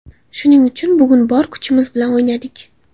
Shuning uchun bugun bor kuchimiz bilan o‘ynadik.